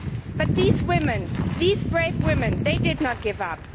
But these women these brave women did not give up.